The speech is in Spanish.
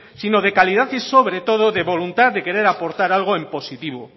sino de calidad y sobre todo de voluntad de querer aportar algo en positivo